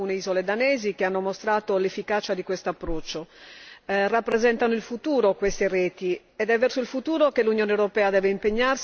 Rappresentano il futuro, queste reti, ed è verso il futuro che l'Unione europea deve impegnarsi, diventando sempre più ambiziosa nell'innovazione verso la sostenibilità.